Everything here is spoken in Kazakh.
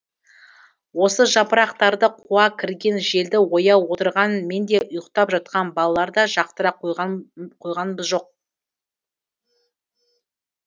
осы жапырақтарды қуа кірген желді ояу отырған мен де ұйықтап жатқан балалар да жақтыра қойғанбыз жоқ